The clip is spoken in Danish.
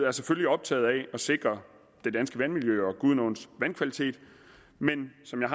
er selvfølgelig optaget af at sikre det danske vandmiljø og gudenåens vandkvalitet men som jeg